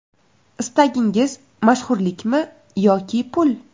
Istagingiz mashhurlikmi yoki pul?